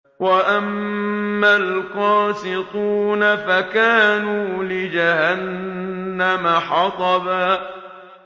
وَأَمَّا الْقَاسِطُونَ فَكَانُوا لِجَهَنَّمَ حَطَبًا